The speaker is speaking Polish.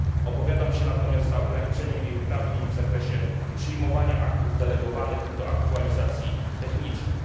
Opowiadam się natomiast za ograniczeniem jej uprawnień w zakresie przyjmowania aktów delegowanych do aktualizacji technicznych.